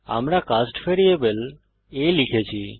আমরা cast variable a লিখেছি